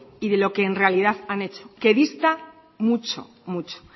y lo que en realidad ha hecho que dista mucho mucho